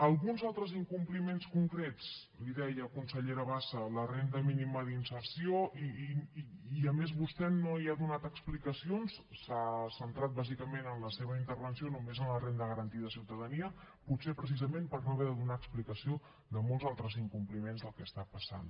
alguns altres incompliments concrets li deia consellera bassa la renda mínima d’inserció i a més vostè no hi ha donat explicacions s’ha centrat bàsicament en la seva intervenció només en la renda garantida de ciutadania potser precisament per no haver de donar explicació de molts altres incompliments del que està passant